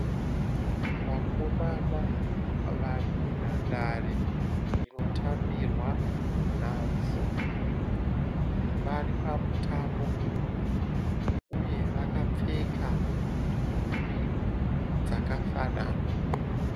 Vakomana varimundanhare inotambirwa nhabvu . Varipamutambo uye vakapfeka nhumbi dzakafanana.